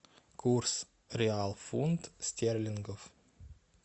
курс реал фунт стерлингов